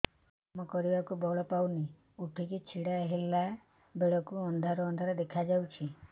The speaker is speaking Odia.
କାମ କରିବାକୁ ବଳ ପାଉନି ଉଠିକି ଛିଡା ହେଲା ବେଳକୁ ଅନ୍ଧାର ଅନ୍ଧାର ଦେଖା ଯାଉଛି